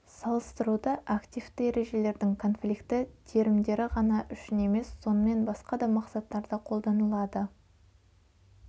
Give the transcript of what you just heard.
салыстыруды активті ережелердің конфликті терімдері ғана үшін емес сонымен басқа да мақсаттарда қолданылады